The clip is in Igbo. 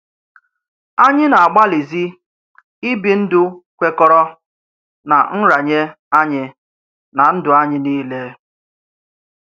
Ányị̀ na-àgbàlìzì ìbì ndụ́ kwèkọ̀rọ̀ ná nrarànyé ányị̀ ná ndụ́ ányị̀ niilè.